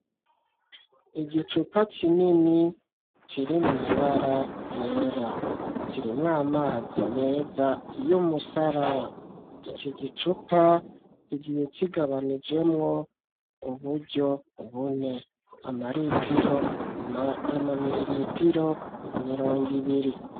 Igicupa kinini kiri mw'ibara ryera kirimwo amazi meza iyo umusara iki gicupa igiye kigabanijemwo uburyo bune amaritiro amamiriritiro mirongo ibire.